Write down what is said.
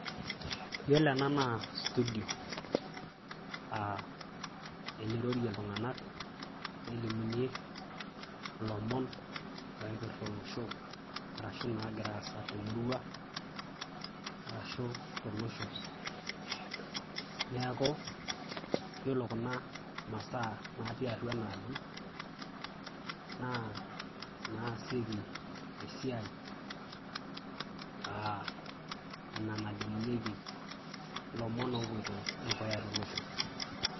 Yiolo ena naa studio, aa enirorie iltunganak nelimunyie ilomon oipirta olosho arashu nagira aasa te murua arashu tolosho. Neku yiolo kuna masaa natii atua enaa aji naa inaasieki esiai aa ina nalimunyieki ilomon opito dukuya tolosho.